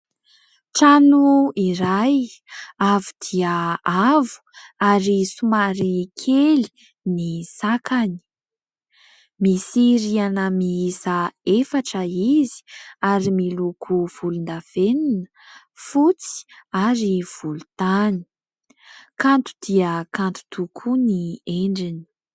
Trano iray avo dia avo ary somary kely ny sakany. Misy rihana miisa efatra izy ary miloko volondavenona, fotsy ary volontany. Kanto dia kanto tokoa ny endriny.